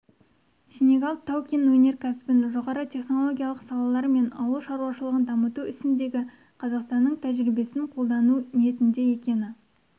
сенегал тау-кен өнеркәсібін жоғары технологиялық салалар мен ауыл шаруашылығын дамыту ісіндегі қазақстанның тәжірибесін қолдану ниетінде екені